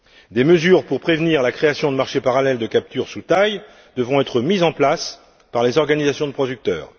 Des mesures pour prévenir la création de marchés parallèles de capture sous taille devront être mises en place par les organisations de producteurs.